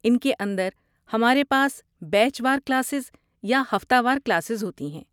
ان کے اندر، ہمارے پاس بیچ وار کلاسز یا ہفتہ وار کلاسز ہوتی ہیں۔